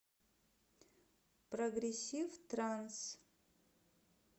прогрессив транс